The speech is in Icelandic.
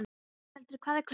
Bóthildur, hvað er klukkan?